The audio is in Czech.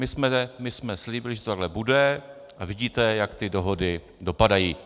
My jsme slíbili, že to takhle bude - a vidíte, jak ty dohody dopadají.